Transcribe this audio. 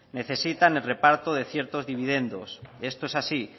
necesitan el reparto de ciertos dividendos esto es así